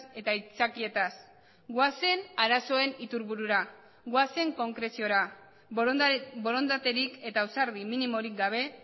eta aitzakietaz goazen arazoen iturburura goazen konkreziora borondaterik eta ausardi minimorik gabe